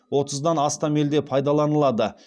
отыздан астам елде пайдаланылады